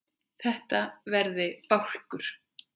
Þetta verði bálkur.